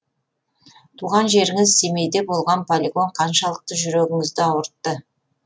туған жеріңіз семейде болған полигон қаншалықты жүрегіңізді ауыртты